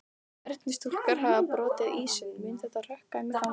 Stjörnustúlkur hafa brotið ísinn, mun þetta hrökkva þeim í gang?